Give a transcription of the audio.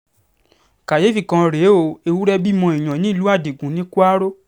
káyééfì kan rèé o ewúrẹ́ bímọ èèyàn nílùú adigun ní kwaro